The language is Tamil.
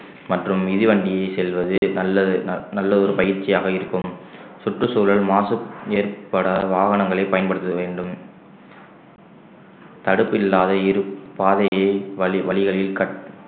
மற்றும் மிதிவண்டியில் செல்வது நல்ல நல்ல ஒரு பயிற்சியாக இருக்கும் சுற்றுச்சூழல் மாசு ஏற்படாத வாகனங்களை பயன்படுத்த வேண்டும் தடுப்பு இல்லாத இருப்~ பாதையை வழி~ வழிகளில் கட்~